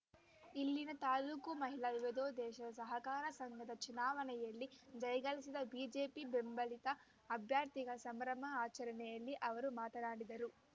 ಇಲ್ಲಿನ ತಾಲೂಕು ಮಹಿಳಾ ವಿವಿಧೋದ್ದೇಶ ಸಹಕಾರ ಸಂಘದ ಚುನಾವಣೆಯಲ್ಲಿ ಜಯಗಳಿಸಿದ ಬಿಜೆಪಿ ಬೆಂಬಲಿತ ಅಭ್ಯರ್ಥಿಗಳ ಸಂಭ್ರಮ ಅಚರಣೆಯಲ್ಲಿ ಅವರು ಮಾತನಾಡಿದರು